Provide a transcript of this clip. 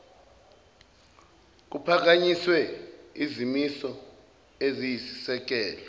kuphakanyiswe izimiso eziyisisekelo